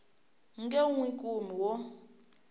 nge n wi kumi wo